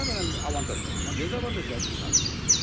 Bunlar önəmli avantajdır, amma dezavantajlar şunlardır.